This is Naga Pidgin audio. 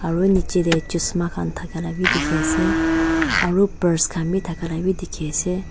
aru nichey tae khusm khan thaka la vi dekhi ase aru purse khan vi thaka la vi dekhi ase.